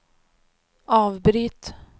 avbryt